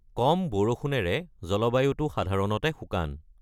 কম বৰষুণেৰে জলবায়ুটো সাধাৰণতে শুকান।